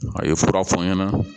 A ye fura fɔ n ɲɛna